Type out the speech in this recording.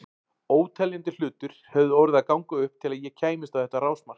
Óteljandi hlutir höfðu orðið að ganga upp til að ég kæmist á þetta rásmark.